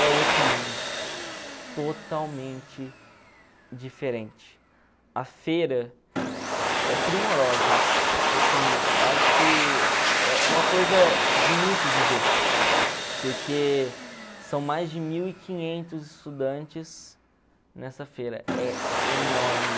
é outro mundo totalmente diferente a feira é primorosa assim eu acho que é é uma coisa bonita de ver porque são mais de mil e quinhentos estudantes nessa feira é enorme